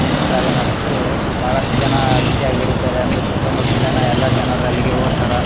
ತಿನ್ನುತ್ತಾರೆ ಮತ್ತು ಬಹಳಷ್ಟು ಜನ ರುಚಿಯಾಗಿ ಇರುತ್ತದೆ ಅಂದು ಸುತ್ತ್ತ ಮುತ್ತಲಿನ ಎಲ್ಲ ಜನರು ಅಲ್ಲಿಗೆ ಹೋಗುತ್ತಾರಾ.